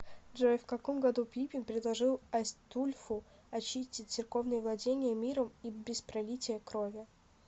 джой в каком году пипин предложил айстульфу очистить церковные владения миром и без пролития крови